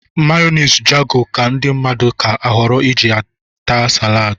Meyoniz Jago ka ndị mmadụ ka họrọ iji taa saladi.